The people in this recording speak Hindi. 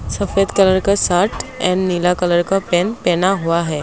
सफेद कलर का शर्ट एंड नीला कलर का पेन पेना हुआ है।